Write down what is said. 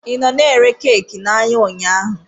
Ị nọ na-ere keeki n'ahịa ụnyaahụ?